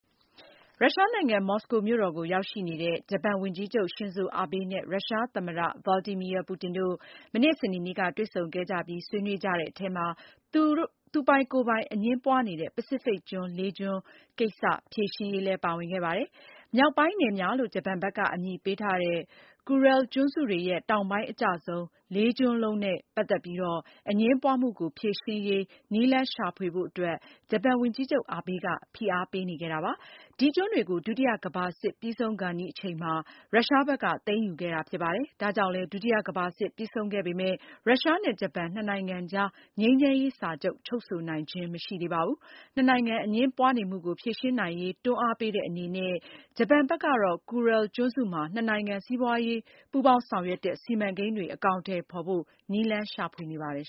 ရုရှားနိုင်ငံ မော်စကိုမြို့ ကိုရောက်ရှိနေတဲ့ ဂျပန်ဝန်ကြီးချုပ် Shinzo Abe နဲ့ ရုရှားသမ္မတ Vladimir Putin တို့ မနေ့ စနေနေ့က တွေ့ဆုံခဲ့ကြပြီး ဆွေးနွေးတဲ့အထဲမှာ သူပိုင်ကိုယ်ပိုင် အငြင်းပွားနေတဲ့ ပစိဖိတ်ကျွန်းလေးကျွန်းကိစ္စ ဖြေရှင်းရေးလည်းပါဝင်ခဲ့ပါတယ်။ မြောက်ပိုင်း နယ်များလို့ ဂျပန်ဘက်က အမည်ပေးထားတဲ့ Kuril ကျွန်းစုတွေရဲ့တောင်ပိုင်း အကျဆုံး လေးကျွန်းလုံးရဲ့ ဗဟိုချက်မတွေနဲ့ ပတ်သက်ပြီး အငြင်းပွားမှုကို ဖြေရှင်းရေး နည်းလမ်း ရှာဖွေဖို့အတွက် ဂျပန်ဝန်ကြီးချုပ် Abe က ဖိအားပေးနေခဲ့တာပါ။ ဒီကျွန်းတွေကို ဒုတိယကမ္ဘာစစ်ပြီးဆုံးခဲ့နီးအချိန်မှာ ရုရှားဘက်က သိမ်းယူခဲ့တာဖြစ်ပါတယ်။ ဒါကြောင့်လည်း ဒုတိယကမ္ဘာစစ်ပြီးဆုံးခဲ့ပေမယ့် ရုရှားနဲ့ ဂျပန် နှစ်နိုင်ငံကြား ငြိမ်းချမ်းရေး စာချုပ် ချုပ်ဆိုနိုင်ခြင်းမရှိသေးပါဘူး။ နှစ်နိုင်ငံ အငြင်းပွားနေမှုကို ဖြေရှင်းနိုင်ရေး တွန်းအားပေးတဲ့အနေနဲ့ ဂျပန်ဘက်ကတော့ Kuril ကျွန်းစုမှာ နှစ်နိုင်ငံ စီးပွားရေးပူးပေါင်း ဆောင်ရွက်တဲ့ စီမံကိန်းတွေ အကောင်အထည်ဖေါ်ဖို့ နည်းလမ်းရှာဖွေနေပါတယ်